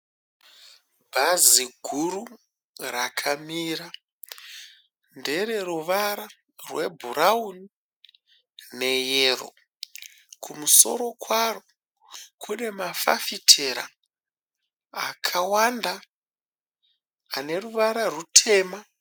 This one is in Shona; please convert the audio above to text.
Bhazi guru rakamira. Ndere ruvara rwebhurauni neyero. Kumusoro kwaro kune mafafitera akawanda ane ruvara rutema.